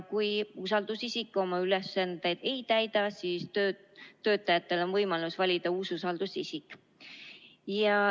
Kui usaldusisik oma ülesandeid ei täida, siis on töötajatel võimalus valida uus usaldusisik.